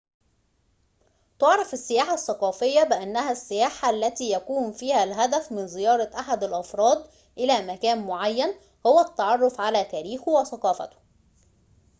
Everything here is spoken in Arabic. تُعرف السياحة الثقافية بأنها السياحة التي يكون فيها الهدف من زيارة أحد الأفراد إلى مكان معين هو التعرف على تاريخه وثقافته